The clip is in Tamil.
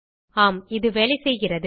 ஆம் இது வேலைசெய்கிறது